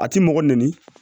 A ti mɔgɔ nɛni